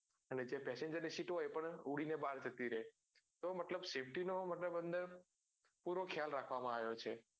અને જે passenger ની sit હોય એ પણ ઉડી ને બહાર જતી રે તો મતલબ safety નો મતલબ અંદર પૂરો ખ્યાલ રાખવા માં આવ્યો છે.